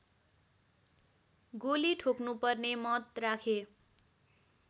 गोली ठोक्नुपर्ने मत राखे